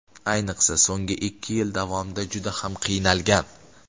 Ayniqsa so‘nggi ikki yil davomida juda ham qiynalgan.